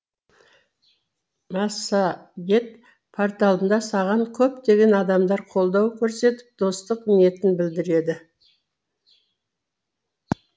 массагет порталында саған көптеген адамдар қолдау көрсетіп достық ниетін білдіреді